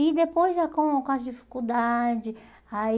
E depois, já com com as dificuldades, aí...